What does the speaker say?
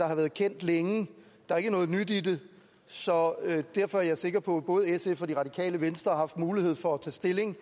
har været kendt længe der er ikke noget nyt i det så derfor er jeg sikker på at både sf og det radikale venstre har haft mulighed for at tage stilling